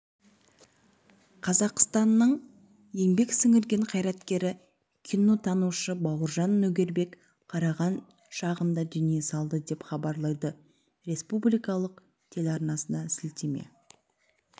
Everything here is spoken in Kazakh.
қазақстанның еңбек сіңірген қайраткері кинотанушы бауыржан нөгербек қараған шағында дүние салды деп хабалайды республикалық телеарнасына сілтеме